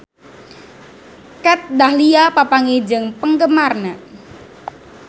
Kat Dahlia papanggih jeung penggemarna